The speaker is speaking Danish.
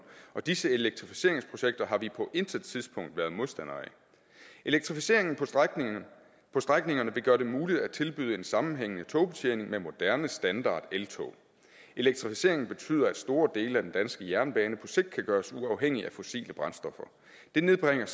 og disse elektrificeringsprojekter har vi på intet tidspunkt været modstander af elektrificeringen på strækningerne vil gøre det muligt at tilbyde en sammenhængende togbetjening med moderne standardeltog elektrificeringen betyder at store dele af den danske jernbane på sigt kan gøres uafhængig af fossile brændstoffer det nedbringer